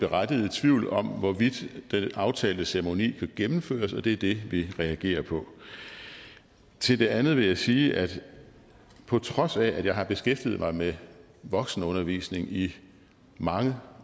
berettiget tvivl om hvorvidt den aftalte ceremoni kan gennemføres og det er det vi reagerer på til det andet vil jeg sige at på trods af at jeg har beskæftiget mig med voksenundervisning i mange